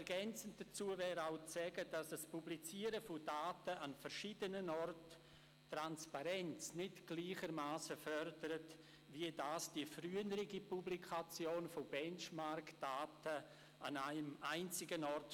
Ergänzend wäre auch festzuhalten, dass ein Publizieren von Daten an verschiedenen Orten die Transparenz nicht gleichermassen fördert wie die frühere Publikation von BenchmarkDaten an einem einzigen Ort.